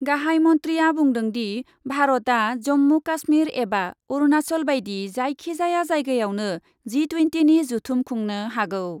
गाहाइ मन्थ्रिआ बुंदोंदि, भारतआ जम्मु काश्मिर एबा अरुनाचल बायदि जायखि जाया जायगायावनो जि टुयेन्टिनि जथुम खुंनो हागौ।